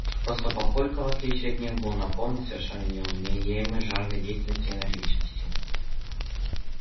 просто папулька в отличие от них был наполнен совершенно неуёмной жаждой деятельности и энергичностью